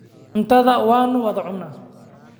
Cuntada waanu wada cunnaa.